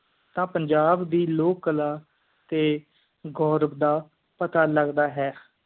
ਤੇ ਪੰਜਾਬ ਦੀ ਲੋਕ ਕਲਾ ਤੇ ਗੁਰਵ ਦਾ ਪਤਾ ਲੱਗਦਾ ਹੈ